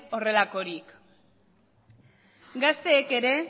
ez delako gazteek ere